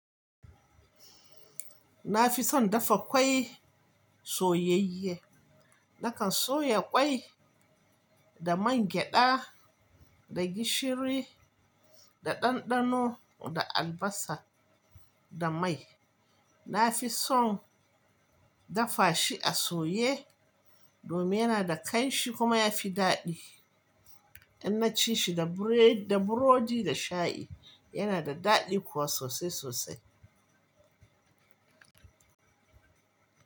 Na fi son dafa ƙwai soyayye. Nakan soya ƙwai da man gyada, da gishiri, da ɗanɗano da albasa da mai. Na fi son dafa shi a soye domin yana da ƙanshi kuma ya fi daɗi. In na ci shi da burodi da shayi yana da daɗi kuwa sosai sosai.